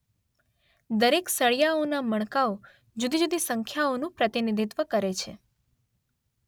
દરેક સળિયાઓનાં મણકાંઓ જુદી-જુદી સંખ્યાઓનું પ્રતિનિધિત્વ કરે છે.